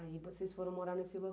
Aí vocês foram morar nesse